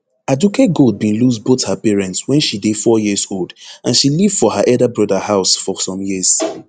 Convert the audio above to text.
aduke gold bin lose both her parents wen she dey four years old and she live for her elder broda house for some years